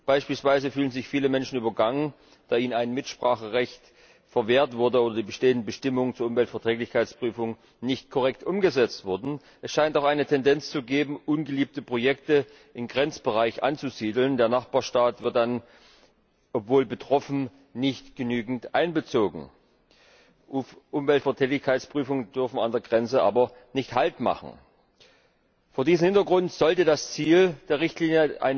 Beispielsweise fühlen sich viele Menschen übergangen, da ihnen Mitspracherechte verwehrt oder die bestehenden Bestimmungen zur Umweltverträglichkeitsprüfung nicht korrekt umgesetzt wurden. Es scheint auch eine Tendenz zu geben, ungeliebte Projekte im Grenzbereich anzusiedeln. Der Nachbarstaat wird dann obwohl betroffen nicht genügend einbezogen. Umweltverträglichkeitsprüfungen dürfen an der Grenze aber nicht Halt machen. Vor diesem Hintergrund sollte das Ziel eine Überarbeitung der Richtlinie